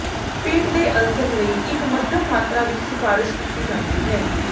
ਪੇਟ ਦੇ ਅਲਸਰ ਲਈ ਇੱਕ ਮੱਧਮ ਮਾਤਰਾ ਵਿੱਚ ਸਿਫਾਰਸ਼ ਕੀਤੀ ਜਾਂਦੀ ਹੈ